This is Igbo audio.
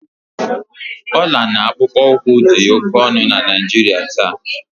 ọla na akpụkpọ ụkwụ dị oke ọnụ na Naijiria taa